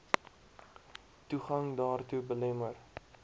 toegang daartoe belemmer